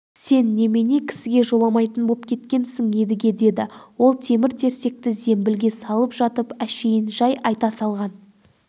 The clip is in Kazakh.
сен немене кісіге жоламайтын боп кеткенсің едіге деді ол темір-терсекті зембілге салып жатып әшейін жай айта салған